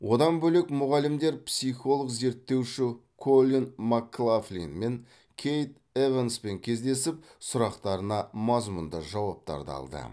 одан бөлек мұғалімдер психолог зерттеуші коллин маклафлин мен кейт эванспен кездесіп сұрақтарына мазмұнды жауаптарды алды